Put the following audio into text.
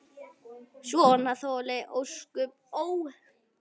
Svona þoli ósköp, ó!